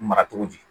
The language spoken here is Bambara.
Mara cogo di